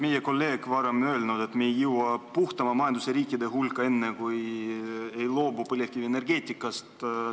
Meie kolleeg ütles, et me ei jõua puhtama majandusega riikide hulka enne, kui ei loobu põlevkivienergeetikast.